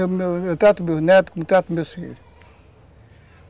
Eu trato meus netos como eu trato meus filhos.